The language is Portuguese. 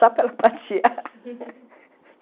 Só para ela passear